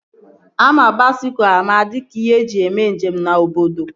Ama baisikụl ama dịka ihe eji mee njem na obodo